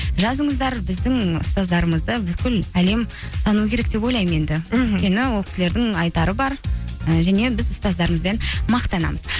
жазыңыздар біздің ұстаздарымызды бүкіл әлем тану керек деп ойлаймын енді мхм өйткені ол кісілердің айтары бар і және біз ұстаздарымызбен мақтанамыз